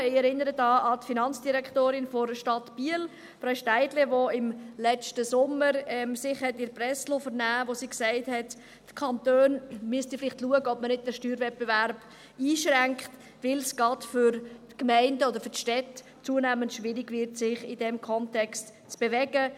Ich erinnere an die Finanzdirektorin der Stadt Biel, Frau Steidle, die sich im letzten Sommer in der Presse vernehmen liess und sagte, die Kantone müssten vielleicht schauen, ob man den Steuerwettbewerb nicht einschränkt, weil es gerade für die Gemeinden oder Städte zunehmend schwierig wird, sich in diesem Kontext zu bewegen.